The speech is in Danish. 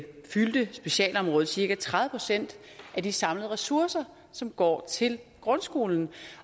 fyldte specialområdet cirka tredive procent af de samlede ressourcer som går til grundskolen